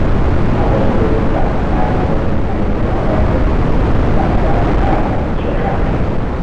A wasu lokuta, na fi son yin aiki a ofis domin ina samun ƙarin kwanciyar hankali.